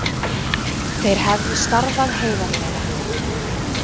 Þeir hefðu starfað heiðarlega